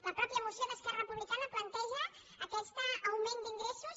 la mateixa moció d’esquerra republicana planteja aquest augment d’ingressos